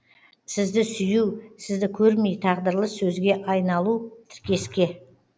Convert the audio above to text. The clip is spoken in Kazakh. сізді сүю сізді көрмей тағдырлы сөзге айналу тіркеске